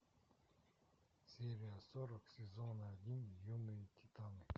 серия сорок сезона один юные титаны